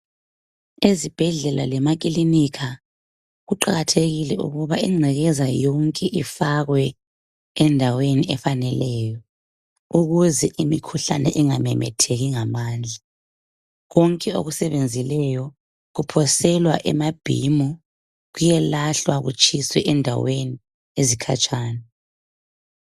Ezibhedlela lemakilinika kuqakathekile ukuba ingcekeza yonke ifakwe endaweni efaneleyo ukuze imikhuhlane ingamemetheki ngamandla. Konke okusebenzileyo kuphoselwa emabhimu kuyelahlwa kutshiswe endaweni ezikhatshana.